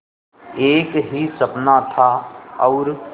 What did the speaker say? एक ही सपना था और